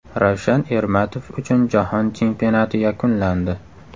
Ravshan Ermatov uchun Jahon Chempionati yakunlandi.